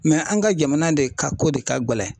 Mɛ an ka jamana de ka ko de ka gɛlɛn